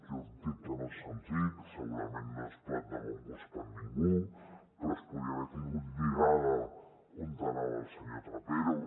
jo entenc que no és senzill que segurament no és plat de bon gust per a ningú però es podia haver tingut lligat on anava el senyor trapero